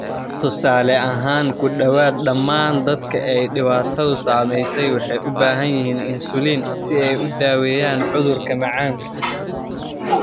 Tusaale ahaan, ku dhawaad ​​dhammaan dadka ay dhibaatadu saameysey waxay u baahan yihiin insulin si ay u daaweeyaan cudurka macaanka.